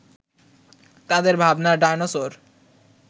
তাদের ভাবনার ডায়নোসর